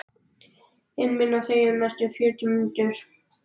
inn minn og þegjum næstu fjörutíu mínúturnar.